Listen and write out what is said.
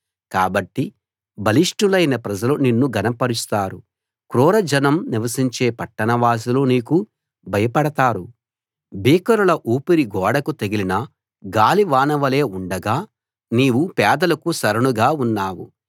కాబట్టి బలిష్ఠులైన ప్రజలు నిన్ను ఘనపరుస్తారు క్రూర జనం నివసించే పట్టణవాసులు నీకు భయపడతారు భీకరుల ఊపిరి గోడకు తగిలిన గాలివానవలే ఉండగా నీవు పేదలకు శరణుగా ఉన్నావు